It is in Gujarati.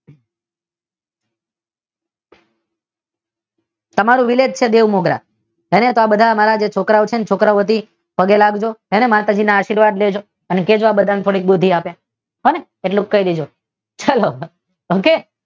અમારું વિલેજ છે બેઉ મુદ્રા અમને તો આ બધા છોકરાઓ છે છોકરાઓમાંથી પગે લાગજો અને માતાજીના આશીર્વાદ લેજો ભગવાન બધાને થોડી બુધ્ધી આપે એટલું કહી દેજો ચાલો હે ને